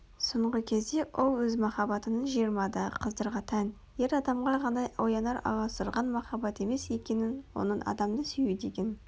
соңғы кезде ол өз махаббатының жиырмадағы қыздарға тән ер адамға ғана оянар аласұрған махаббат емес екенін оның адамды сүю деген